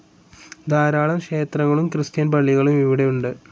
ധാരാളം ക്ഷേത്രങ്ങളും ക്രിസ്ത്യൻ പള്ളികളും ഇവിടെ ഉണ്ട്.